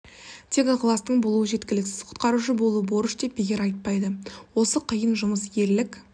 тек ықыластың болуы жеткіліксіз құтқарушы болу бұл борыш деп бекер айтпайды осы қиын жұмыс ерлік